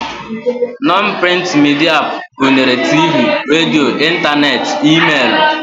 Nọn prịnt midia gụnyere tiivii, radio, ịntaneetị, e-meelụ